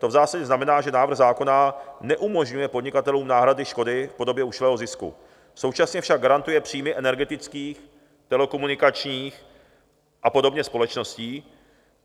To v zásadě znamená, že návrh zákona neumožňuje podnikatelům náhrady škody v podobě ušlého zisku, současně však garantuje příjmy energetických, telekomunikačních a podobně společností.